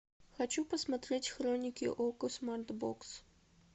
хочу посмотреть хроники окко смарт бокс